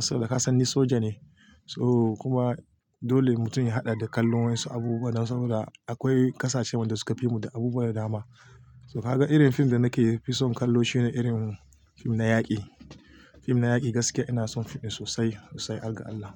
Saboda kasan ni soja ne, so kuma dole mutum ya haɗa da kallon waƴansu abubuwa don saboda akwai ƙasashe wanda suka fi mu da abubuwa da dama. To kaga irin fim da nake fi son kallo shine irin fim na yaƙi. Fim na yaƙi gaskiya ina son fim ɗin sosai, sosai har ga Allah.